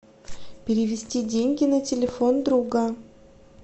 перевести деньги на телефон друга